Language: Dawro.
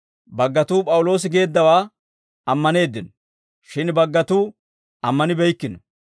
Baggatuu P'awuloosi geeddawaa ammaneeddino; shin baggatuu ammanibeykkino.